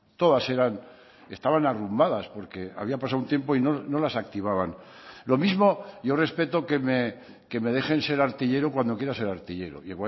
todas eran estaban arrumbadas porque había pasado un tiempo y no las activaban lo mismo yo respeto que me dejen ser artillero cuando quiero ser artillero y